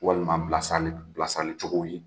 Walima bilasirali , bilasirali cogow ye.